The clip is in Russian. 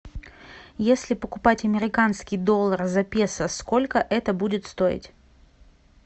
если покупать американский доллар за песо сколько это будет стоить